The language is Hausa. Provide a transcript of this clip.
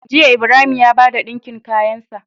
Jiya Ibrahim ya bada dinkin kayan sa